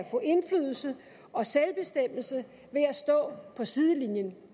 få indflydelse og selvbestemmelse ved at stå på sidelinjen